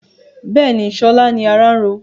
Bẹ́ẹ̀ni, sọlá ni ará ń ro